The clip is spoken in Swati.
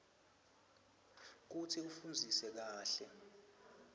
kutsi ufundzisise kahle